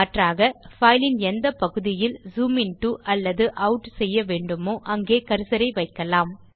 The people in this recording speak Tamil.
மாற்றாக fileன் எந்தப் பகுதியில் ஜூம் இன்டோ அல்லது ஆட் செய்யவேண்டுமோ அங்கே கர்சரை வைக்கலாம்